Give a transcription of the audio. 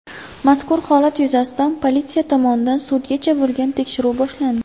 Mazkur holat yuzasidan politsiya tomonidan sudgacha bo‘lgan tekshiruv boshlandi.